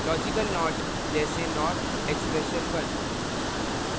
logical not जैसे not expression1